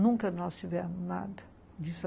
Nunca nós tivemos nada disso.